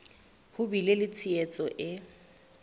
ho bile le tshehetso e